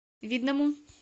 видному